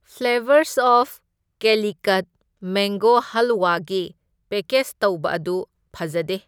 Flavours of ꯀꯦꯂꯤꯀꯠ mango ꯍꯜꯋꯥꯒꯤ package ꯇꯧꯕ ꯑꯗꯨ ꯐꯖꯗꯦ꯫